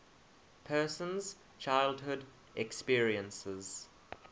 person's childhood experiences